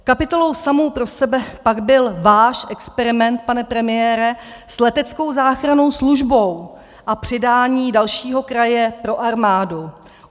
Kapitolou samu pro sebe pak byl váš experiment, pane premiére, s leteckou záchrannou službou a přidání dalšího kraje pro armádu.